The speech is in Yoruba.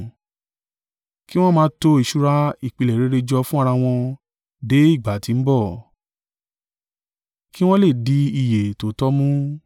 kí wọn máa to ìṣúra ìpìlẹ̀ rere jọ fún ara wọn dé ìgbà tí ń bọ̀, kí wọn lè di ìyè tòótọ́ mú.